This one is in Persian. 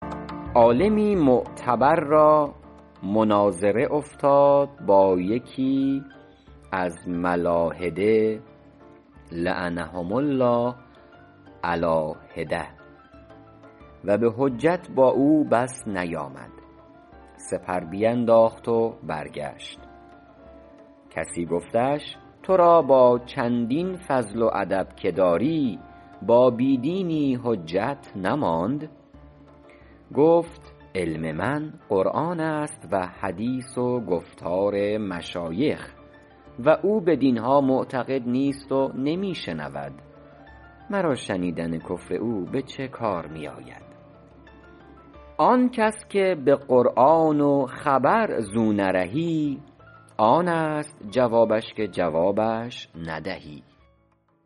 عالمی معتبر را مناظره افتاد با یکی از ملاحده لعنهم الله علیٰ حدة و به حجت با او بس نیامد سپر بینداخت و برگشت کسی گفتش تو را با چندین فضل و ادب که داری با بی دینی حجت نماند گفت علم من قرآن است و حدیث و گفتار مشایخ و او بدین ها معتقد نیست و نمی شنود مرا شنیدن کفر او به چه کار می آید آن کس که به قرآن و خبر زو نرهی آن است جوابش که جوابش ندهی